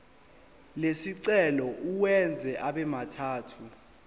lesicelo uwenze abemathathu